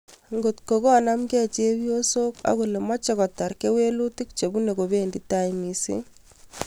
" Ngotkonaamgeei chepyoosook agoole meeche kotar keweluutik chwbuune kobeendi tai misiing'